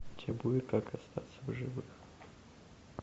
у тебя будет как остаться в живых